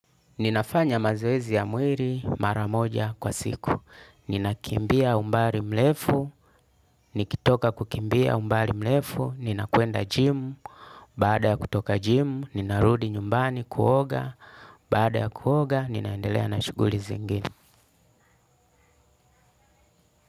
Ninafanya mazoezi ya mwili mara moja kwa siku. Ninakimbia umbali mrefu, nikitoka kukimbia umbali mrefu, ninakwenda jimu, baada ya kutoka jimu, ninarudi nyumbani kuoga, baada ya kuoga, ninaendelea na shughuli zingine.